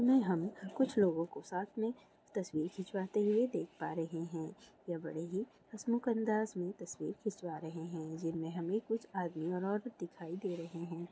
ये हम कुछ लोगों को साथ में तस्वीर खिचवाते हुए देख पा रहें हैं। यह बड़े ही हसमुख अंदाज में तस्वीर खिचवा रहें हैं जिनमें हमें कुछ आदमी और औरत दिखाई दे रहें हैं।